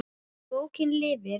Bókin lifir.